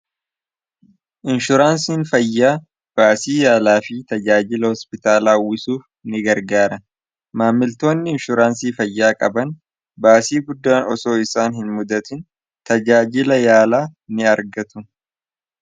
inshuraansiin fayyaa baasii yaalaa fi tajaajila hospitaalaawwisuuf ni gargaara maammiltoonni inshuraansii fayyaa qaban baasii buddaan osoo isaan hin muddatin tajaajila yaalaa ni argatu